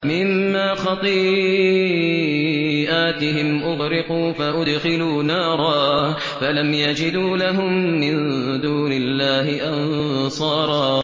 مِّمَّا خَطِيئَاتِهِمْ أُغْرِقُوا فَأُدْخِلُوا نَارًا فَلَمْ يَجِدُوا لَهُم مِّن دُونِ اللَّهِ أَنصَارًا